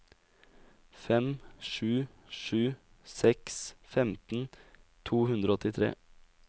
fem sju sju seks femten to hundre og åttitre